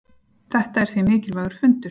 Þetta er því mikilvægur fundur.